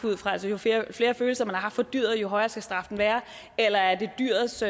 ud fra altså jo flere følelser man har haft for dyret jo højere skal straffen være eller er det dyrets